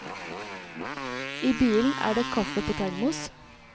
I bilen er det kaffe på termos.